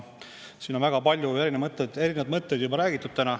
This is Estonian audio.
Siin on täna kuulda olnud väga palju erinevaid mõtteid.